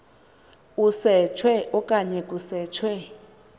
usetshwe okanye kusetshwe